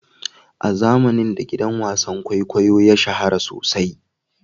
A zamanin da gidan wasan kwaikwayo ya shahara sosai.